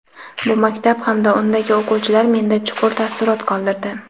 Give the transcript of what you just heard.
Bu maktab hamda undagi o‘quvchilar menda chuqur taassurot qoldirdi.